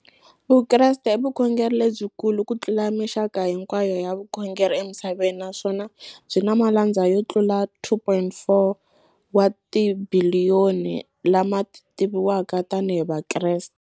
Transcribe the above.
Vukreste i vukhongeri lebyikulu kutlula mixaka hinkwayo ya vukhongeri emisaveni, naswona byi na malandza yo tlula 2.4 wa tibiliyoni, la ma tiviwaka tani hi Vakreste.